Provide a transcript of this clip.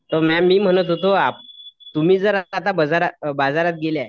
तर मॅ मी म्हणत होतो तुम्ही जर आता बाजारात गेल्या